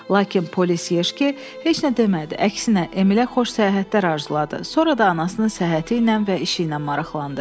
Lakin polis Yeşke heç nə demədi, əksinə, Emilə xoş səyahətlər arzuladı, sonra da anasının səhhəti ilə və işi ilə maraqlandı.